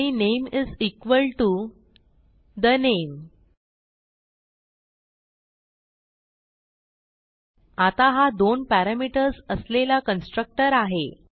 आणि name is equal to the name आता हा दोन पॅरामीटर्स असलेला कन्स्ट्रक्टर आहे